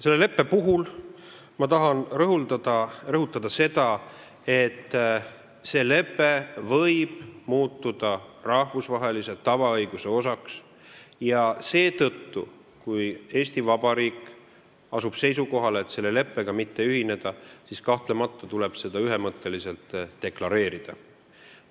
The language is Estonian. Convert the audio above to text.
Selle leppe puhul tahan rõhutada, et see lepe võib muutuda rahvusvahelise tavaõiguse osaks ja seetõttu, kui Eesti Vabariik asub seisukohale, et selle leppega mitte ühineda, siis kahtlemata tuleb seda ühemõtteliselt deklareerida.